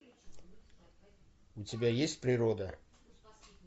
у тебя есть природа